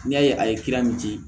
N'i y'a ye a ye kilan min di